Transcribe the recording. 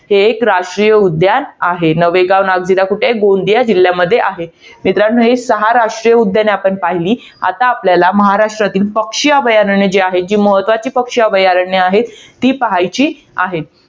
हे एक राष्ट्रीय उद्यान आहे. नवेगाव नागदिरा, कुठे आहे? गोंदिया जिल्ह्यामध्ये आहे. मित्रांनो, ही सहा राष्ट्रीय उद्याने आपण पहिली. आता आपल्याला, महाराष्ट्रातील पक्षी अभयारण्य जी आहेत. जी महत्वाची पक्षी अभयारण्य आहेत. ती पहायची आहेत.